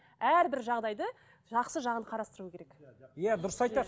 әрбір жағдайды жақсы жағын қарастыру керек иә дұрыс айтады